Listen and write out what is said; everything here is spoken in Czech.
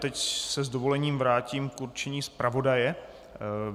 Teď se s dovolením vrátím k určení zpravodaje.